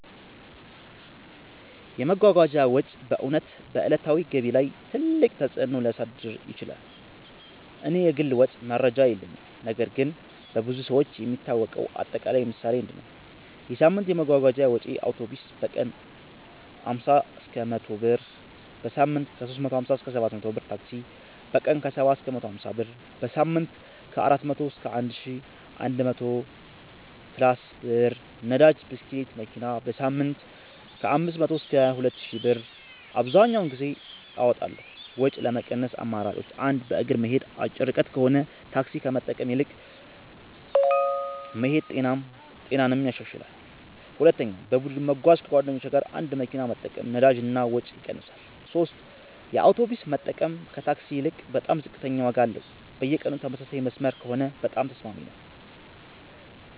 የመጓጓዣ ወጪ በእውነት በዕለታዊ ገቢ ላይ ትልቅ ተፅእኖ ሊያሳድር ይችላል። እኔ የግል ወጪ መረጃ የለኝም ነገር ግን በብዙ ሰዎች የሚታወቀው አጠቃላይ ምሳሌ እንዲህ ነው፦ የሳምንት የመጓጓዣ ወጪዬ አውቶቡስ: በቀን 50–100 ብር → በሳምንት 350–700 ብር ታክሲ: በቀን 70–150 ብር → በሳምንት 400–1100+ ብር ነዳጅ (ብስክሌት/መኪና): በሳምንት 500–2000+ ብር አብዘሀኛውን ጊዜ አወጣለሁ ወጪ ለመቀነስ አማራጮች 1. በእግር መሄድ አጭር ርቀት ከሆነ ታክሲ ከመጠቀም ይልቅ መሄድ ጤናንም ያሻሽላል 2. በቡድን መጓጓዣ ከጓደኞች ጋር አንድ መኪና መጠቀም ነዳጅ እና ወጪ ይቀንሳል 3 የአውቶቡስ መጠቀም ከታክሲ ይልቅ በጣም ዝቅተኛ ዋጋ አለው በየቀኑ ተመሳሳይ መስመር ከሆነ በጣም ተስማሚ ነው